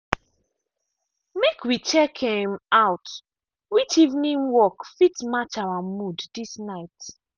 make we check um out which evening work fit match our mood this night.